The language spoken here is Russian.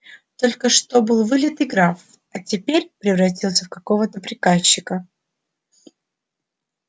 только что был вылитый граф а теперь превратился в какого-то приказчика